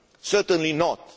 Certainly not.